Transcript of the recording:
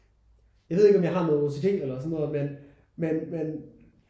Jeg ved ikke om jeg har noget OCD eller sådan noget men men men